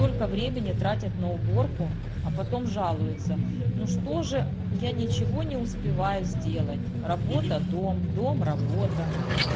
только времени тратят на уборку а потом жалуется ну что же я ничего не успеваю сделать работа дом дом работа